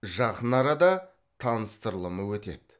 жақын арада таныстырылымы өтеді